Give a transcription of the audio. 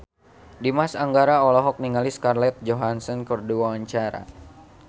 Dimas Anggara olohok ningali Scarlett Johansson keur diwawancara